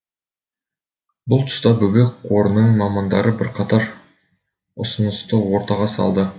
бұл тұста бөбек қорының мамандары бірқатар ұсынысты ортаға салды